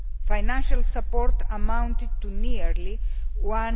Financial support amounted to nearly EUR